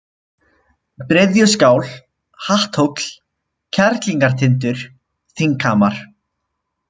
Bryðjuskál, Hatthóll, Kerlingartindur, Þinghamar